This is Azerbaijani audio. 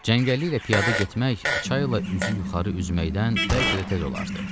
Cəngəlliklə piyada getmək, çayla üzü yuxarı üzməkdən bəlkə də tez olardı.